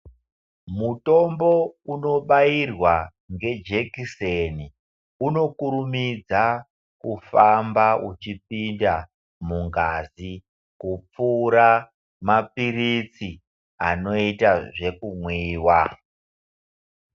Mutombo unobairwa ngejekiseni, unokurumidza kufamba uchipinda mungazi, kupfuura maphiritsi anoita zvekumwiwa.